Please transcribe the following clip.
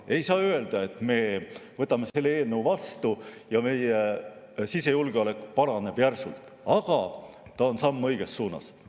Ei saa öelda, et me võtame selle eelnõu vastu ja meie sisejulgeolek järsult paraneb, aga see on samm õiges suunas.